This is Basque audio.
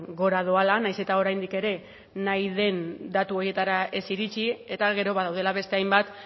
gora doala nahiz eta oraindik ere nahi den datu horietara ez iritsi eta gero badaudela beste hainbat